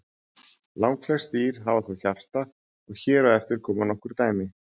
Langflest dýr hafa þó hjarta og hér á eftir koma nokkur dæmi.